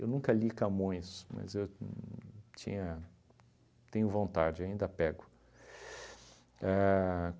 Eu nunca li Camões, mas eu uhn tinha tenho vontade, ainda pego. A